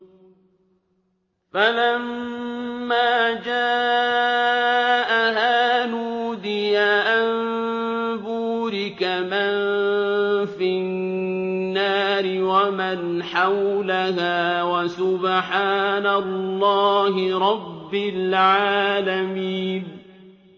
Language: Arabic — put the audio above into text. فَلَمَّا جَاءَهَا نُودِيَ أَن بُورِكَ مَن فِي النَّارِ وَمَنْ حَوْلَهَا وَسُبْحَانَ اللَّهِ رَبِّ الْعَالَمِينَ